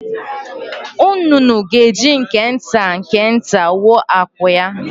Nnụnụ ga-eji nke nta nke nta wuo akwụ ya.